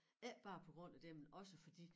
Ikke bare på grund af det men også fordi